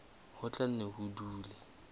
ho tla nne ho dule